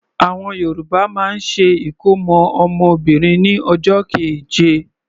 Àwọn Yorùbá máa ń ṣe ìkómọ́ ọmọ Obìnrin ní ọjọ́ keje.